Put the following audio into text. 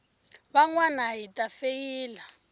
van wana hi ta feyila